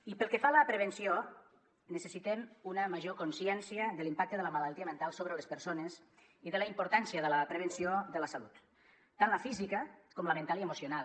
i pel que fa a la prevenció necessitem una major consciència de l’impacte de la malaltia mental sobre les persones i de la importància de la prevenció de la salut tant la física com la mental i emocional